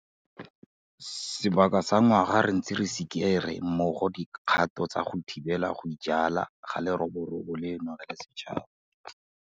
Sebaka sa ngwaga re ntse re sikere mmogo dikgato tsa go thibela go ijala ga leroborobo leno re le setšhaba.